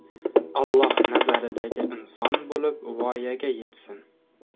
Alloh nazaridagi inson bo‘lib voyaga yetsin!